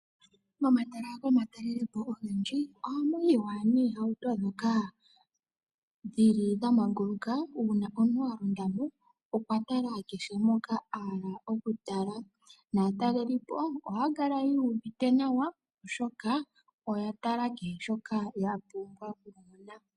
Momahala gomatalelopo ogendji ohamu yiwa noohauto ndhoka dhi li dha manguluka, uuna omuntu a londa mo okwa tala kehe mpoka a hala okutala. Naatalelipo ohaya kala yu uvite nawa, oshoka oya tala kehe shoka ya pumbwa okumona.